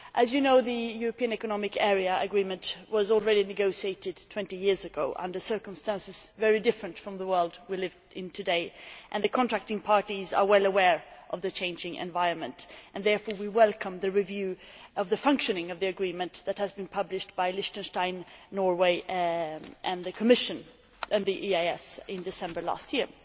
As you know, the European Economic Area Agreement was negotiated 20 years ago under circumstances very different from the world we live in today, and the contracting parties are well aware of the changing environment. We therefore welcome the review of the functioning of the Agreement that was published by Liechtenstein, Norway and the Commission and the EEAS in December last year.